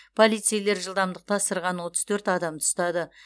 полицейлер жылдамдықты асырған отыз төрт адамды ұстады